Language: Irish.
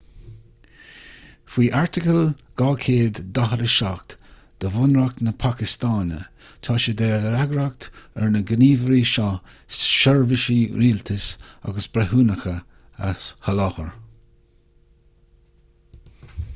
faoi airteagal 247 de bhunreacht na pacastáine tá sé de fhreagracht ar na gníomhairí seo seirbhísí rialtais agus breithiúnacha a sholáthar